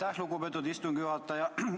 Aitäh, lugupeetud istungi juhataja!